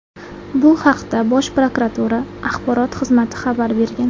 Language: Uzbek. Bu haqda Bosh prokuratura Axborot xizmati xabar bergan.